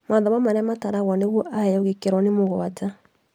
Mathomo marĩa mataragwo nĩguo aheo gĩkĩro nĩ mũgwanja